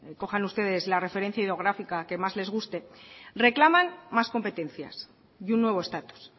cojan ustedes la referencia hidrográfica que más les guste reclaman más competencias y un nuevo estatus